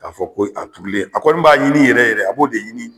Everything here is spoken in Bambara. K 'a fɔ ko a turulen a kɔni b'a ɲini yɛrɛ yɛrɛ a b'o de ɲini